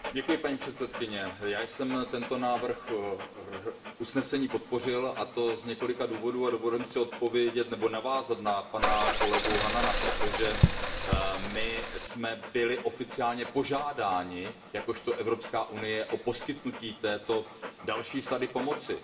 Paní předsedající, já jsem tento návrh usnesení podpořil, a to z několika důvodů. Dovolím si navázat na kolegu Hannana, protože my jsme byli oficiálně požádáni jakožto Evropská unie o poskytnutí této další sady pomoci.